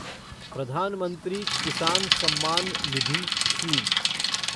Pradhan Mantri Kisan Samman Nidhi scheme